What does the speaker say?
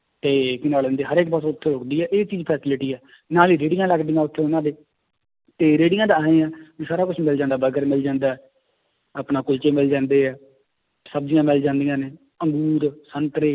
ਤੇ ਕੀ ਨਾਂ ਲੈਂਦੇ ਹਰ ਇੱਕ ਬਸ ਉੱਥੇ ਰੁੱਕਦੀ ਹੈ ਇਹ ਚੀਜ਼ facility ਹੈ ਨਾਲ ਹੀ ਰੇੜੀਆਂ ਲੱਗਦੀਆਂ ਉੱਥੇ ਉਹਨਾਂ ਦੇ, ਤੇ ਰੇੜੀਆਂ ਦਾ ਇਵੇਂ ਆਂ ਵੀ ਸਾਰਾ ਕੁਛ ਮਿਲ ਜਾਂਦਾ ਬਰਗਰ ਮਿਲ ਜਾਂਦਾ ਹੈ, ਆਪਣਾ ਕੁਲਚੇ ਮਿਲ ਜਾਂਦੇ ਹੈ, ਸਬਜ਼ੀਆਂ ਮਿਲ ਜਾਂਦੀਆਂ ਨੇ, ਅਮਰੂਦ ਸੰਤਰੇ